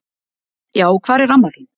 Já hvar er amma þin?